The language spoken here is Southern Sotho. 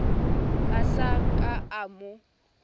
a sa ka a mo